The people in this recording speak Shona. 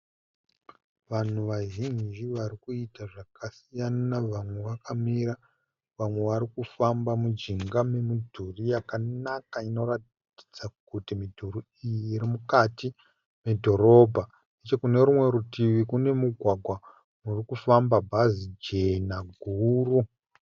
Vanhu vazhinji varikuita zvakasiyana. Vamwe vakamira vamwe varikufamba mujinga memudhuri yakanaka inoratidza kuti midhuri iyi iri mukati medhorobha . Kune rumwe rutivi kune mugwagwa urikufamba bhazi jena guru.